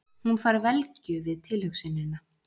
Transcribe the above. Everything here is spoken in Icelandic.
Hún fær velgju við tilhugsunina.